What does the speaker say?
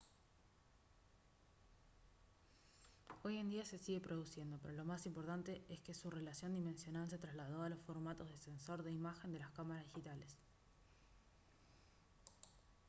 hoy en día se sigue produciendo pero lo más importante es que su relación dimensional se trasladó a los formatos de sensor de imagen de las cámaras digitales